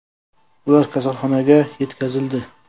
Ular kasalxonaga yetkazildi.